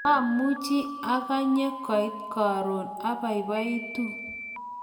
mamuchi akanye koit karon, abaibaitu